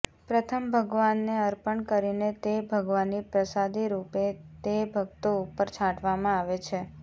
પ્રથમ ભગવાનને અર્પણ કરીને તે ભગવાનની પ્રસાદીરૂપે તે ભક્તો ઉપર છાંટવામાં આવે છે